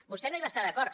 vostè no hi va estar d’acord